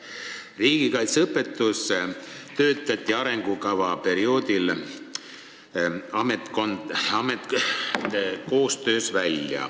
Riigikaitseõpetuse põhimõtted pandi arengukava koostamise perioodil paika ametkondade koostöös.